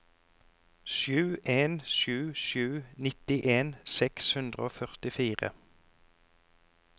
sju en sju sju nittien seks hundre og førtifire